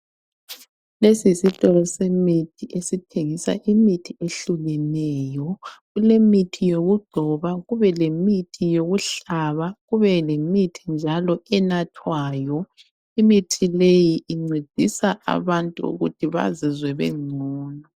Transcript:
Lesi yisitolo semithi esithengisa imithi ehlukeneyo. Kulemithi yokugcoba, kube lemithi yokuhlaba, kube lemithi njalo enathwayo. Imithi leyi incedisa abantu ukuthi bazizwe bengcono.